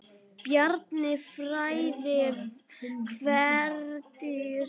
Bjarni frændi, Herdís frænka.